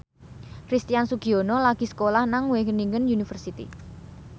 Christian Sugiono lagi sekolah nang Wageningen University